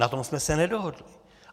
Na tom jsme se nedohodli.